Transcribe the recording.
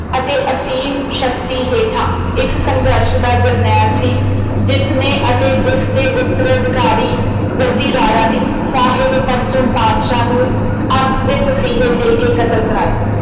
ਅਤੇ ਅਸੀਮ ਸ਼ਕਤੀ ਹੇਠਾਂ ਇਸ ਸੰਘਰਸ਼ ਦਾ ਜਰਨੈਲ ਸੀ ਜਿਸਨੇ ਅਤੇ ਜਿਸਦੇ ਉੱਤਰਾਧਿਕਾਰੀ ਜੱਦੀ ਰਾਜਾ ਨੇ ਸਾਹਿਬ ਪੰਚਮ ਪਾਤਸ਼ਾਹ ਨੂੰ ਅੱਤ ਦੇ ਤਸੀਹੇ ਦੇ ਕੇ ਕਤਲ ਕਰਾਇਆ।